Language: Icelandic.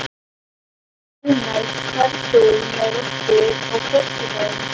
Ronald, ferð þú með okkur á föstudaginn?